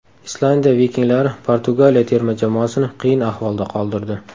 Islandiya vikinglari Portugaliya terma jamoasini qiyin ahvolda qoldirdi.